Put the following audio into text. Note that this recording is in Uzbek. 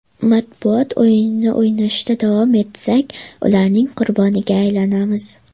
Matbuot o‘yinini o‘ynashda davom etsak, ularning qurboniga aylanamiz.